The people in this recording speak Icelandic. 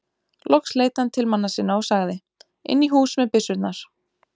Loks leit hann til manna sinna og sagði:-Inn í hús með byssurnar.